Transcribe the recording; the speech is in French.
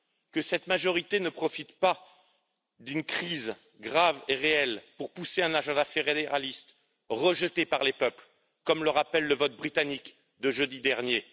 Que cette majorité ne profite pas d'une crise grave et réelle pour faire avancer un projet fédéraliste rejeté par les peuples, comme l'a rappelé le vote britannique de jeudi dernier.